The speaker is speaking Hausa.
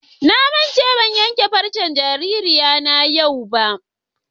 Na manta ban ƴanke farcen jaririna yau ba.